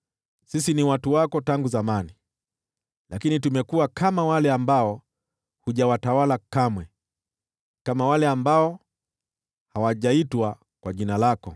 Sisi tumekuwa kama wale ambao hujawatawala kamwe, kama wale ambao hawajaitwa kwa jina lako.